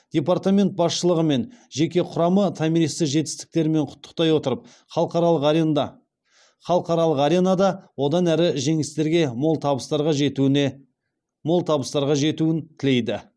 департамент басшылығы мен жеке құрамы томиристі жетістіктерімен құттықтай отырып халықаралық аренада одан әрі жеңістерге мол табыстарға жетуін тілейді